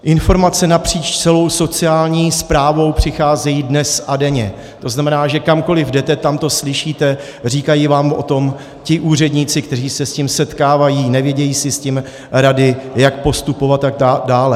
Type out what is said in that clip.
Informace napříč celou sociální správou přicházejí dnes a denně, to znamená, že kamkoli jdete, tam to slyšíte, říkají vám o tom ti úředníci, kteří se s tím setkávají, nevědí si s tím rady, jak postupovat, a tak dále.